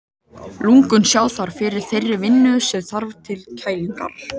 Lungun sjá þar fyrir þeirri vinnu sem þarf til kælingarinnar.